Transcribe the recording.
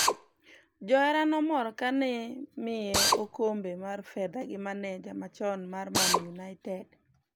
Johera nomor kani miye okombe mar fedha gi maneja machon mar Man United